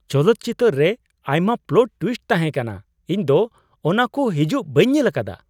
ᱪᱚᱞᱚᱛ ᱪᱤᱛᱟᱹᱨ ᱨᱮ ᱟᱭᱢᱟ ᱯᱞᱚᱴ ᱴᱣᱤᱥᱴ ᱛᱟᱦᱮ ᱠᱟᱱᱟ ! ᱤᱧ ᱫᱚ ᱚᱱᱟᱠᱩ ᱦᱤᱡᱩᱜ ᱵᱟᱹᱧ ᱧᱮᱞ ᱟᱠᱟᱫᱟ ᱾